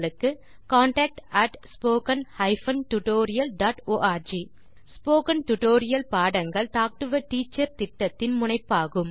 contact at spoken hyphen tutorial dot org spoken tutorial பாடங்கள் talk to a teacher திட்டத்தின் முனைப்பாகும்